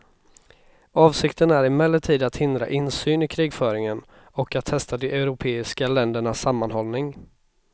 Avsikten är emellertid att hindra insyn i krigföringen, och att testa de europeiska ländernas sammanhållning.